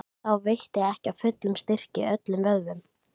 Flestar svefntruflanir eiga sér sálræna orsök.